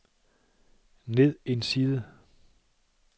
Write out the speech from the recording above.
ned en side